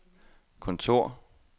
kontor